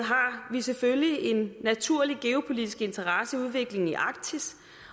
vi selvfølgelig en naturlig geopolitisk interesseudvikling i arktis